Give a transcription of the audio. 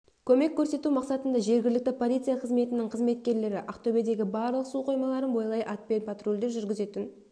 көмек көрсету мақсатында жергілікті полиция қызметінің қызметкерлері ақтөбедегі барлық су қоймаларын бойлай атпен патрульдеу жүргізетін